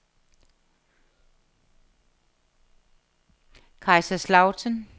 Kaiserslautern